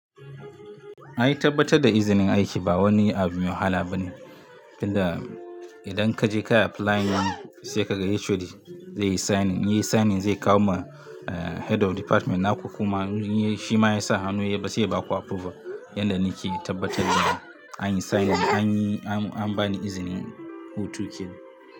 Ai tabbatar da izinin aiki ba wani abu mai wahala bane, tunda idan kaje kayi applying sai ka ga HOD zai yi signing, inbyayi signing zai kawo ma Head of Department naku kuma shi ma ya sa hannu sai ya baku approval. Yanda nake tabbatar da an yi signing an yi an bani izinin hutu kenan.